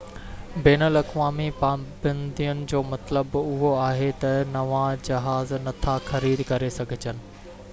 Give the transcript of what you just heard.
بين الاقوامي پابندين جو مطلب اهو آهي ته نوان جهاز نٿا خريد ڪري سگهجن